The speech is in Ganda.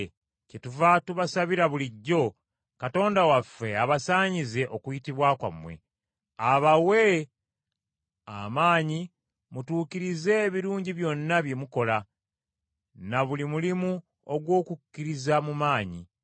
Kyetuva tubasabira bulijjo, Katonda waffe abasaanyize okuyitibwa kwammwe. Abawe amaanyi mutuukirize ebirungi byonna bye mukola, na buli mulimu ogw’okukkiriza mu maanyi,